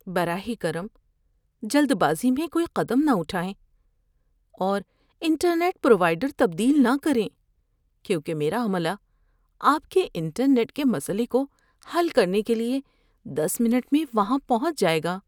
براہ کرم جلد بازی میں کوئی قدم نہ اٹھائیں اور انٹرنیٹ پروائیڈر تبدیل نہ کریں کیونکہ میرا عملہ آپ کے انٹرنیٹ کے مسئلے کو حل کرنے کے لیے دس منٹ میں وہاں پہنچ جائے گا۔